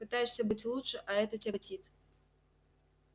пытаешься быть лучше а это тяготит